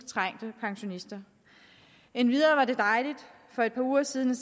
trængte pensionister endvidere var det dejligt for et par uger siden